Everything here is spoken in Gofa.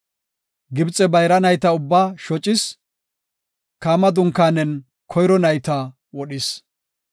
Gibxe bayra nayta ubbaa shocis; Kaama dunkaanen koyro nayta wodhis;